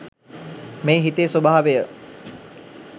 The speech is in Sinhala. මේ හිතේ ස්වභාවය